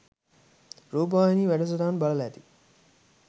රූපවාහිනී වැඩසටහන් බලල ඇති.